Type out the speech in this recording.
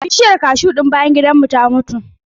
Bishiyar kashu ɗin bayan gidan mu ta mutu.